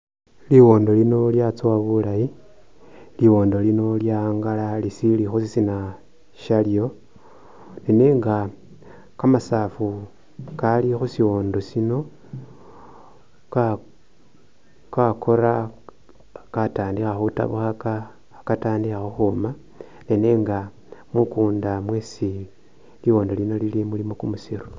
Liwondo lino lya tsowa bulayi , liwondo lino lyawangala lisili khushisina shalyo, nenga kamasafu kali khusiwondo shino kakora , katandikha khutabukhaka khekatandikha khukhuma nenga mukunda mwesi liwondo lino lili mulimo kumusiro